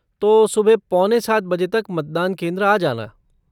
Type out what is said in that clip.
तो सुबह पौने सात बजे तक मतदान केंद्र आ जाना।